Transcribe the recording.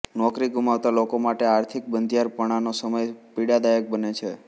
નોકરી ગુમાવતા લોકો માટે આર્થિક બંધિયારપણાનો સમય પીડાદાયક બને છે